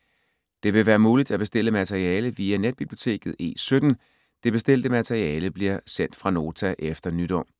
Det vil være muligt at bestille materiale via netbiblioteket E17. Det bestilte materiale bliver sendt fra Nota efter nytår.